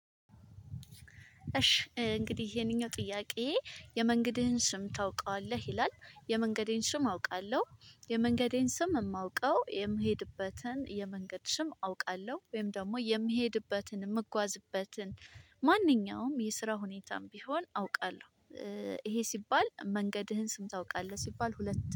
እሺ እንግዲህ ይሄንኛው ጥያቄ የመንገድህን ስም ታውቀዋለህ ይላል? የመንገዴን ስም አውቃለሁ የመንገዴን ስም የማውቀው የምሄድበትን የመንገድ ስም አውቃለሁ ወይም ደግሞ የምሄድበትን የምጓዝበትን ማንኛውም የስራ ሁኔታም ቢሆን አውቃለሁ። ይሄ ሲባል መንገድህን ስም ታውቃለህ ሲባል ሁለት